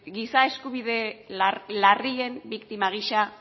giza eskubide larrien biktima gisa